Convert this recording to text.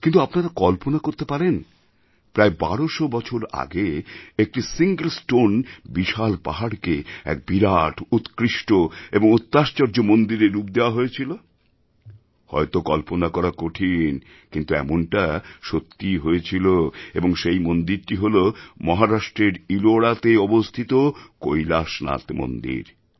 কিন্তু আপনারা কল্পনা করতে পারেন প্রায় বারোশো বছর আগে একটি সিঙ্গল স্টোন বিশাল পাহাড়কে এক বিরাট উৎকৃষ্ট এবং অত্যাশ্চর্যমন্দিরের রূপ দেওয়া হয়েছিলহয়তো কল্পনা করা কঠিন কিন্তু এমনটা সত্যিই হয়েছিল এবং সেই মন্দিরটি হল মহারাষ্ট্রের ইলোরাতে অবস্থিত কৈলাশনাথ মন্দির